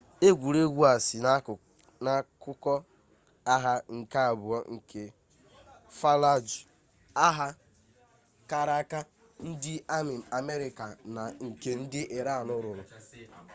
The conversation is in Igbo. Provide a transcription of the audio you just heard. egwuregwu a si n'akụkọ agha nke abụọ nke fallujah agha kara aka ndị amị amerịka na nke ndị iran lụrụ